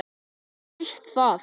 Þú veist það.